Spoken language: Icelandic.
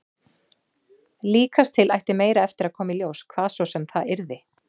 Líkast til ætti meira eftir að koma í ljós, hvað svo sem það yrði.